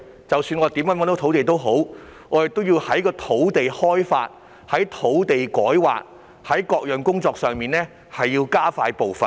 即使我們已覓得土地，也要在土地開發、土地改劃等各項工作上加快步伐。